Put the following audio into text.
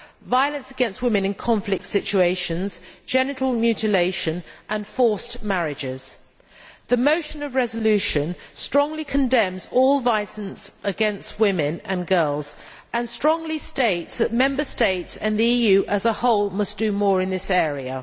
violence against women in conflict situations, genital mutilation and forced marriages. The motion for a resolution strongly condemns all violence against women and girls and strongly states that Member States and the EU as a whole must do more in this area.